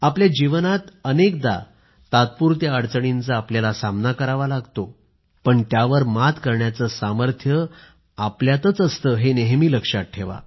आपल्याला जीवनात अनेकदा टेम्पररी सेटबॅक तात्पुरत्या अडचणींचा सामना करावा लागतो पण त्यावर मात करण्याचं सामर्थ्य आपल्यातच असतं हे नेहमी लक्षात ठेवा